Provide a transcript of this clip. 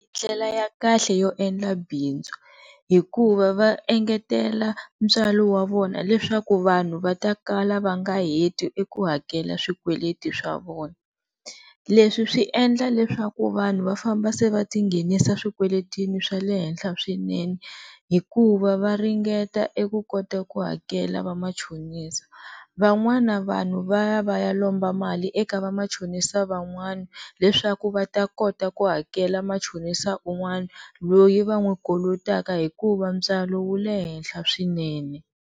Ndlela ya kahle yo endla bindzu hikuva va engetela ntswalo wa vona leswaku vanhu va ta kala va nga heti eku hakela swikweleti swa vona, leswi swi endla leswaku vanhu va famba se va ti nghenisa swikweletini swa le henhla swinene hikuva va ringeta eku kota ku hakela va machonisa van'wana vanhu va ya va ya lomba mali eka va machonisa van'wana leswaku va ta kota ku hakela machonisa un'wana loyi va n'wi kolotaka hikuva ntswalo wu le henhla swinene.